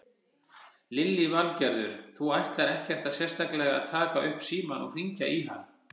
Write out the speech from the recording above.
Lillý Valgerður: Þú ætlar ekkert sérstaklega að taka upp símann og hringja í hann?